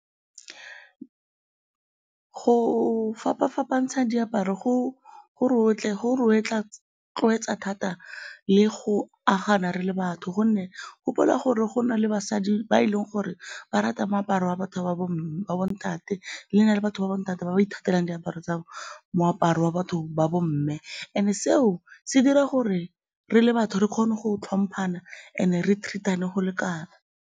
Go fapa-fapantsha diaparo go re rotloetsa thata le go agana re le batho gonne gopola gore go na le basadi ba eleng gore ba rata moaparo wa batho ba ba bontate, le batho ba bontate ba ba ithatelang diaparo tsa, moaparo wa batho ba bomme and-e seo se dira gore re le batho re kgone go tlhomphana and-e re treat-ane go lekana.